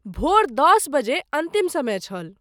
भोर दश बजे अन्तिम समय छल।